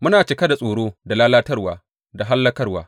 Muna cika da tsoro, da lalatarwa da hallakarwa.